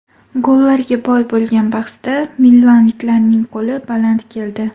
Gollarga boy bo‘lgan bahsda milanliklarning qo‘li baland keldi.